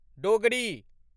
Dogri